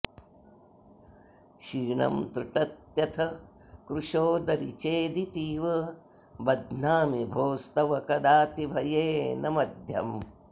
क्षीणं त्रुटत्यथ कृशोदरि चेदितीव बध्नामि भोस्तव कदातिभयेन मध्यम्